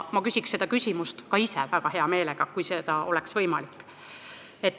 Ma küsiks seda ka ise väga hea meelega, kui see oleks võimalik.